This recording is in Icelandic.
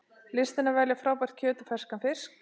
Listin að velja frábært kjöt og ferskan fisk